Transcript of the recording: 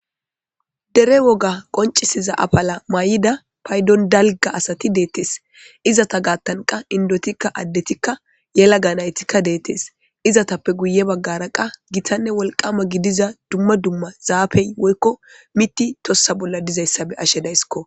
dere woga qoncisiza apala may7ida paydon dalga asati deettes izata gaattanqa indotikka addetikka yela ga naytikka deettes izatappe guye baggara qa gitanne wolqama gidiza dumma dumma zaafey woykko mitti tossa bolla dizayssabe ashe daysskko